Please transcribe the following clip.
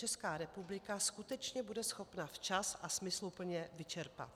Česká republika skutečně bude schopna včas a smysluplně vyčerpat.